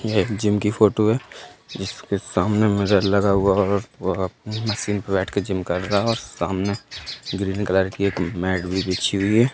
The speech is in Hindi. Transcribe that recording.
यह एक जिम की फोटो है जिसके सामने मिरर लगा हुआ है। बैठ कर जिम कर रहा सामने ग्रीन कलर की मैट भी बिछी हुई है।